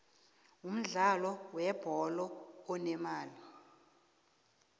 umudlalo we bholo unemali